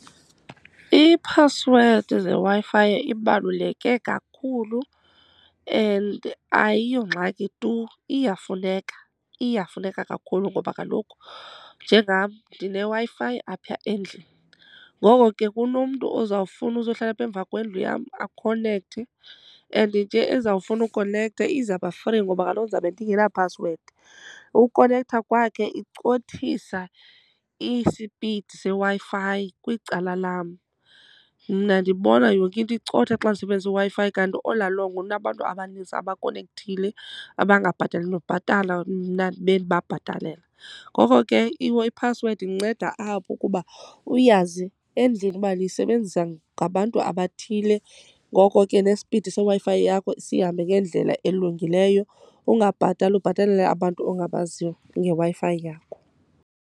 Iiphasiwedi zeWi-Fi ibaluleke kakhulu and ayiyongxaki tu, iyafuneka, iyafuneka kakhulu. Ngoba kaloku njengam ndineWi-Fi apha endlini, ngoko ke kunomntu ozawufuna uzohlala apha emva kwendlu yam akhonekthe. And nje ezawufuna ukonektha izaba free ngoba kaloku ndizawube ndingena phasiwedi. Ukonektha kwakhe icothisa isipidi seWi-Fi kwicala lam. Mna ndibona yonke into icotha xa ndisebenzise iWi-Fi kanti all long kunabantu abaninzi abakonekthile abangabhatali nokubhatala, mna ndibe ndibabhatalela. Ngoko ke iphasiwedi indinceda apho, ukuba uyazi endlini uba niyisebenzisa ngabantu abathile ngoko ke nespidi seWi-Fi yakho sihambe ngendlela elungileyo. Ungabhatali ubhatalela abantu ongabaziyo ngeWi-Fi yakho.